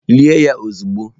Lie ya ozugbo!